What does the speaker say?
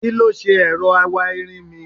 Kí ló ṣe ẹ̀rọ awáirin mi?